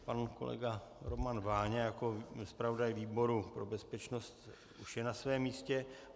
Pan kolega Roman Váňa jako zpravodaj výboru pro bezpečnost už je na svém místě.